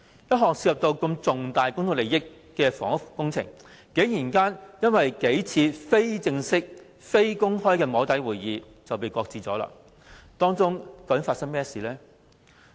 一項涉及重大公眾利益的房屋工程，竟然因為數次非正式、非公開的"摸底"會議而被擱置，當中究竟發生甚麼事？